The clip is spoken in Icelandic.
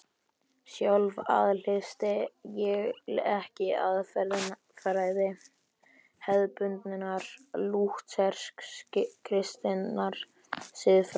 Sjálf aðhyllist ég ekki aðferðafræði hefðbundinnar lúthersk-kristinnar siðfræði.